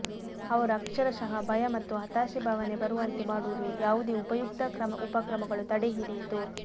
ಅವರು ಅಕ್ಷರಶಃ ಭಯ ಮತ್ತು ಹತಾಶೆ ಭಾವನೆ ಬರುವಂತೆ ಮಾಡುವುದು ಯಾವುದೇ ಉಪಯುಕ್ತ ಉಪಕ್ರಮಗಳು ತಡೆಹಿಡಿಯಿತು